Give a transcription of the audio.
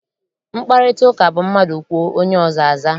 Mkparịtaụka bụ mmadụ kwuo, onye ọzọ aza.